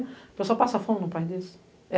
A pessoa passa fome, não perde isso.